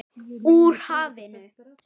Úr hafinu.